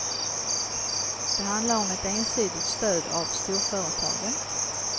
Det handlar om ett ensidigt stöd av storföretagen.